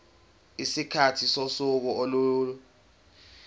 isikhathi sosuku olulodwa